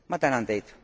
Ma tänan teid.